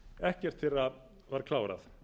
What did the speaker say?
ekkert þeirra var klárað